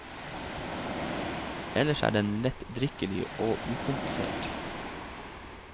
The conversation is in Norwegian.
Ellers er den lettdrikkelig og ukomplisert.